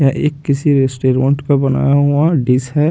यह एक किसी रेस्टेरोंट का बना हुआ डिस है।